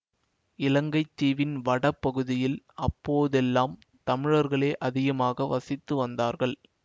இலங்கை தீவின் வடபகுதியில் அப்போதெல்லாம் தமிழர்களே அதிகமாக வசித்து வந்தார்கள்